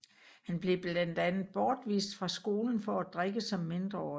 Han blev blandt andet bortvist fra skolen for at drikke som mindreårig